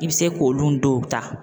I bɛ se k'olu dɔw ta.